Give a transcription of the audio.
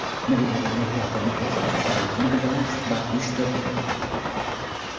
Milliy Olimpiya qo‘mitasi Chusovitina bilan suhbat uyushtirdi.